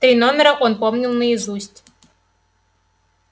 три номера он помнил наизусть